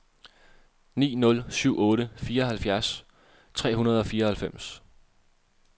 ni nul syv otte fireoghalvfjerds tre hundrede og fireoghalvfems